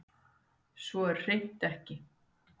Svo er hreint ekki